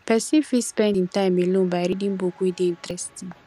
person fit spend im time alone by reading book wey dey interesting